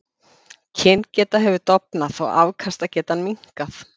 Kyngeta hefur dofnað og afkastagetan minnkað.